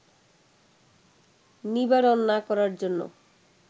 নিবারণ না করার জন্য